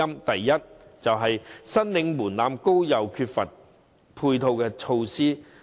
第一，申領門檻高又缺乏配套措施。